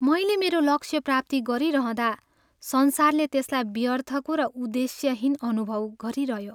मैले मेरो लक्ष्य प्राप्ति गरिरहँदा संसारले त्यसलाई व्यर्थको र उद्देश्यहीन अनुभव गरिरह्यो।